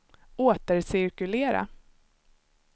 återcirkulera